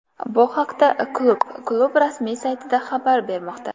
Bu haqda klub klub rasmiy saytida xabar bermoqda .